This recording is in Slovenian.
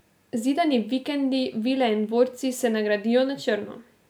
Zidani vikendi, vile in dvorci se ne gradijo na črno.